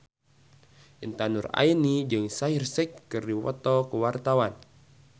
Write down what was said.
Intan Nuraini jeung Shaheer Sheikh keur dipoto ku wartawan